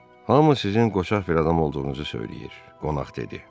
Hamı sizin qoçaq bir adam olduğunuzu söyləyir, qonaq dedi.